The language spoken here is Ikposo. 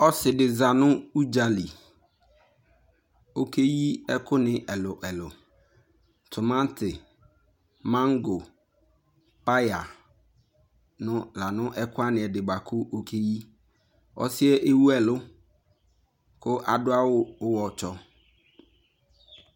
Ɔse de za no udzali, ɔke yi ɛku ne ɛluɛlu, tomante, mango, paya no la no ɛkua ne ɛde boako ɔke yi Ɔsiɛ ewu alu ko ado awuwɔtsɔ